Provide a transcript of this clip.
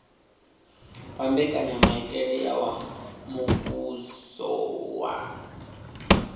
wa mbekanyamaitele ya muvhuso wa